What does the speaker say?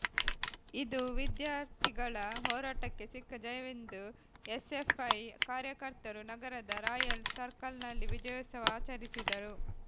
ಇದು ವಿದ್ಯಾಥರ್ಿಗಳ ಹೋರಾಟಕ್ಕೆ ಸಿಕ್ಕ ಜಯವೆಂದು ಎಸ್ಎಫ್ಐ ಕಾರ್ಯಕರ್ತರು ನಗರದ ರಾಯಲ್ ಸರ್ಕಲ್ನಲ್ಲಿ ವಿಜಯೋತ್ಸವ ಆಚರಿಸಿದರು